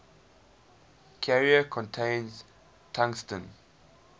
carrier contains tungsten